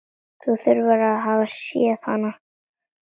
Að þú hafir séð hana?